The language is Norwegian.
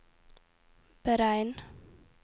beregn